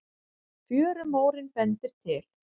Fjörumórinn bendir til